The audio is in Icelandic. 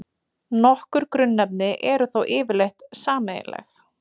Nokkur grunnefni eru þó yfirleitt sameiginleg.